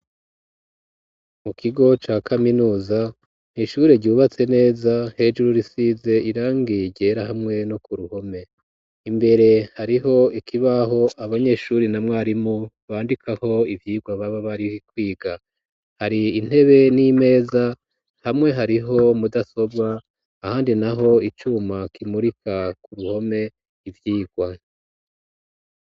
Mu kigo, ca kaminuza, ni ishure ryubatse neza, hejuru, risize irangi ryera, hamwe no ku ruhome; imbere, hariho ikibaho, abanyeshure na mwarimu, bandikaho ivyigwa, baba bari bikwiga; hari intebe, n'imeza, hamwe hariho, mudasobwa, ahandi naho, icuma, kimurika ku ruhome, ivyigwa.